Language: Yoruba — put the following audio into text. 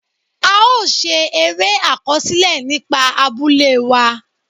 A ó ṣe eré àkọsílẹ̀ nípa abúlé wa.